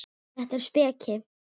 Þetta er speki.